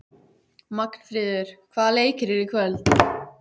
Magnfríður, hvaða leikir eru í kvöld?